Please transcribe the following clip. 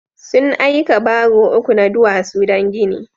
Sun aika baro uku na duwasu don gini.